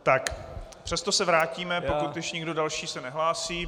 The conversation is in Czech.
Tak, přesto se vrátíme, pokud už nikdo další se nehlásí.